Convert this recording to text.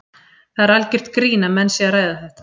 Það er algjört grín að menn séu að ræða þetta.